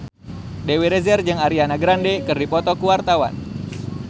Dewi Rezer jeung Ariana Grande keur dipoto ku wartawan